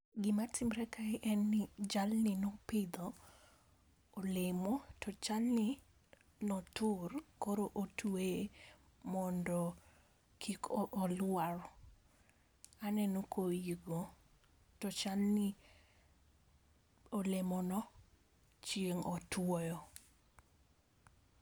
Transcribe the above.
Gima timre kae en ni jalni nopidho olemo to chalni notur koro otweye mondo kik olwar, aneno ka oyii go, to chalni olemono chieng otuoyo